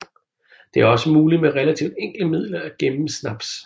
Det er også muligt med relativt enkle midler at gemme snaps